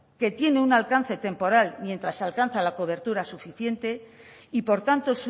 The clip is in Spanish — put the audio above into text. que tiene un alcance temporal mientras alcanza la cobertura suficiente y por tanto